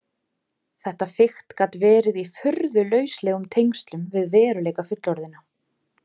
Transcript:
Þetta fikt gat verið í furðu lauslegum tengslum við veruleika fullorðinna.